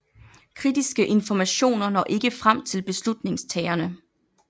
Kritiske informationer når ikke frem til beslutningstagerne